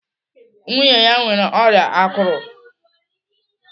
Nwunye ya nwere ọrịa akụrụ.